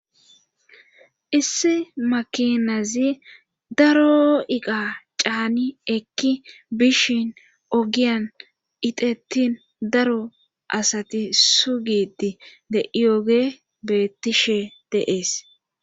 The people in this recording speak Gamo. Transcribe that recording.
issi makinazi daro iqa caani ekki bishin ogiyan itettin daro asati sugidi de ioge bettishe deees